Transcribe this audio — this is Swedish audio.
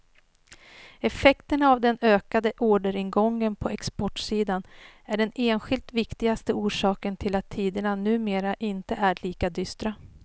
Effekterna av den ökande orderingången på exportsidan är den enskilt viktigaste orsaken till att tiderna numera inte är lika dystra.